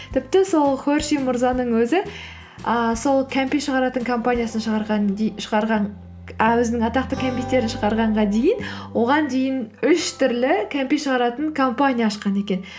тіпті сол хершей мырзаның өзі ыыы сол кәмпит шығаратын компаниясын ы өзінің атақты кімпиттерін шығарғанға дейін оған дейін үш түрлі кәмпит шығаратын компания ашқан екен